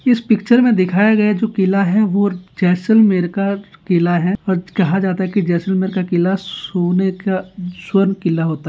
इस पिक्चर में दिखाया गया जो किला है वो जैसलमेर का किला है और कहा जाता है की जैसलमेर का किला सोने का स्वर्ग किला होता है।